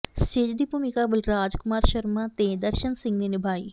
stage ਦੀ ਭੂਮਿਕਾ ਬਲਰਾਜ ਕੁਮਾਰ ਸ਼ਰਮਾਂ ਤੇ ਦਰਸ਼ਨ ਸਿੰਘ ਨੇ ਨਿਭਾਈ